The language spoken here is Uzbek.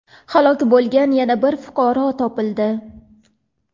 halok bo‘lgan yana bir fuqaro topildi.